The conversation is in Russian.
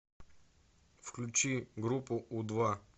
включи группу у два